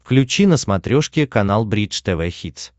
включи на смотрешке канал бридж тв хитс